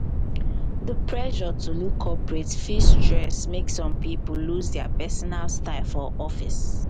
di pressure to look corporate fit stress make some pipo lose dia personal style for office. for office.